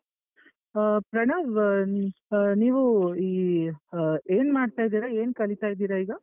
ಆ ಪ್ರಣವ್ ಆ ಆಹ್ ನೀವು ಈ ಆಹ್ ಏನ್ ಮಾಡ್ತಾ ಇದ್ದೀರಾ? ಏನ್ ಕಲಿತಾ ಇದ್ದೀರಾ ಈಗ?